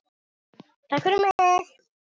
Takk fyrir mig!